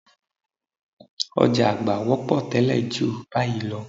Ọ̀já àgbá wọ́pọ̀ tẹ́lẹ̀ ju báyìí lọ